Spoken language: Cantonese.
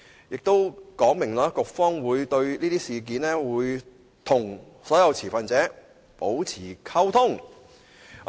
"當中亦說明局方會就此事宜與所有持份者保持溝通。